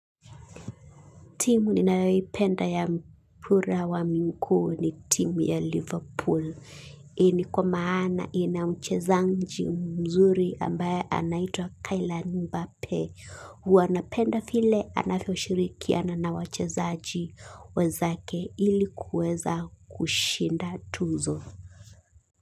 Timu ninayoipenda ya mpira wa miguu ni timu ya Liverpool. Hii ni kwa maana ina mchezaji mzuri ambaye anaitwa kylian mbape huwa napenda vile anavyoshirikiana na wachezaji wenzake ili kuweza kushinda tuzo.